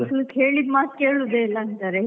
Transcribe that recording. ಮಕ್ಳು ಕೇಳಿದ್ ಮಾತ್ ಕೇಳುದೇ ಇಲ್ಲ ಅಂತಾರೆ.